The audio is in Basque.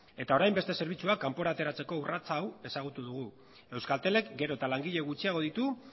eta orain beste zerbitzuak kanpora ateratzeko urrats hau ezagutu dugu euskaltelek gero eta langile gutxiago ditu